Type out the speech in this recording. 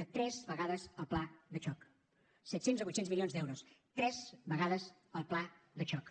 de tres vegades el pla de xoc set cents o vuit cents milions d’euros tres vegades el pla de xoc